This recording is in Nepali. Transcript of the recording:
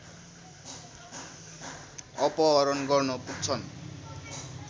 अपहरण गर्न पुग्छन्